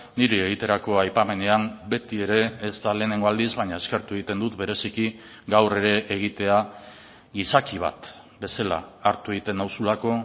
niri egiterako aipamenean beti ere ez da lehenengo aldiz baina eskertu egiten dut bereziki gaur ere egitea izaki bat bezala hartu egiten nauzulako